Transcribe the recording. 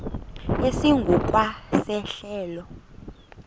esingu kwa sehlelo